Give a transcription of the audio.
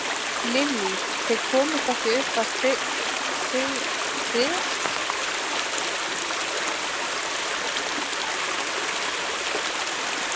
Lillý: Þið komust ekki upp að sigkatlinum núna?